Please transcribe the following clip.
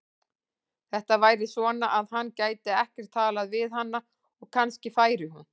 Þetta væri svona, að hann gæti ekkert talað við hana og kannski færi hún.